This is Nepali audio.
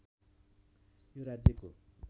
यो राज्यको